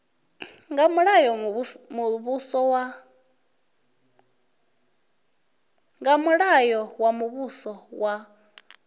nga mulayo wa muvhuso wa